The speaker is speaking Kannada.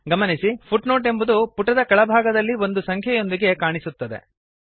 ಗಮನಿಸಿ ಫುಟ್ನೋಟ್ ಎಂಬುದು ಪುಟದ ಕೆಳಭಾಗದಲ್ಲಿ ಒಂದು ಸಂಖ್ಯೆಯೊಂದಿಗೆ ಕಾಣಿಸುತ್ತದೆ